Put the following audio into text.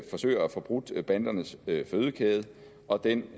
forsøger at få brudt bandernes fødekæde og den